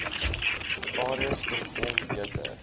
areas voorkom beter